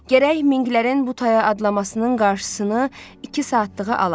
Gərək minqlərin butaya adlamasının qarşısını iki saatlığı alaq.